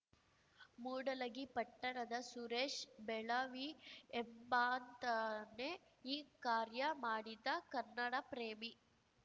ಮೂಡಲಗಿ ಪಟ್ಟಣದ ಸುರೇಶ್‌ ಬೆಳವಿ ಎಂಬಾತನೆ ಈ ಕಾರ್ಯ ಮಾಡಿದ ಕನ್ನಡಪ್ರೇಮಿ